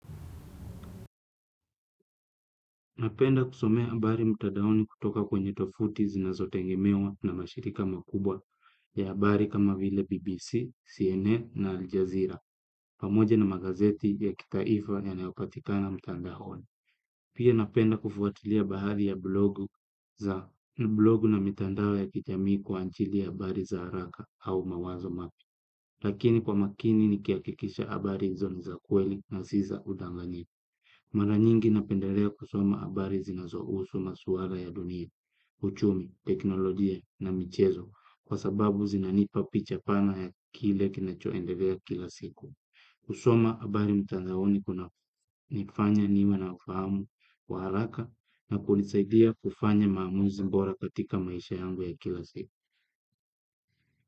Napenda kusomea habari mtandaoni kutoka kwenye tovuti zinazotengemewa na mashirika makubwa ya habari kama vile BBC, CNN na Aljazeera, pamoja na magazeti ya kitaifa yanaopatikana mtandaoni. Pia napenda kufuatilia bahari ya blogu na mitandao ya kijamii kwa ajili ya habari za haraka au mawazo mapya. Lakini kwa makini ni kihakikisha habari hizo ni za kweli na si za udanganyifu. Mara nyingi napendelea kusoma habari zinazohusu masuala ya dunia, uchumi, teknolojia na michezo kwa sababu zinanipa picha pana ya kile kinachoendelea kila siku. Kusoma habari mtandaoni kuna nifanya niwe na ufahamu, wa haraka na kunisaidia kufanya maamuzi bora katika maisha yangu ya kila siku.